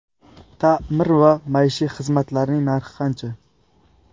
Ta’mir va maishiy xizmatlarning narxi qancha?